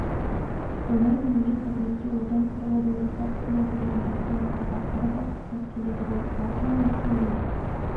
өмірін елге қызметке отан қорғаудың ортақ ісіне арнаған батырлардың тағдыры да ұқсас келеді ғой бауыржан момышұлының